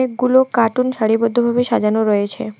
গুলো কার্টুন সারিবদ্ধভাবে সাজানো রয়েছে।